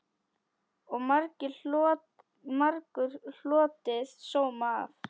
Og margur hlotið sóma af.